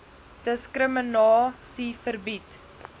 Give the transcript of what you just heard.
diskrimina sie verbied